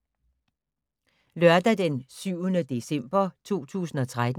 Lørdag d. 7. december 2013